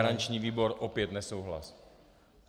Garanční výbor opět nesouhlas.